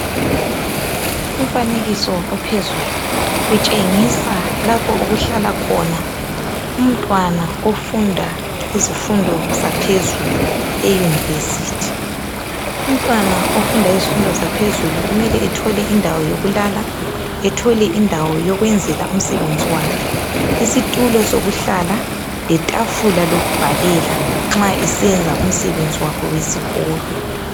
Umfanekiso ophezulu utshengisa lapho okuhlala khona umntwana ofunda izifundo zaphezulu eyunivesithi. Umfundi weyunivesithi mele athole indawo yokulala lendawo yokwenzela umsebenzi wakhe isitulo sokuhlala letafula lokubhalela nxa esenza umsebenzi wakhe wesikolo.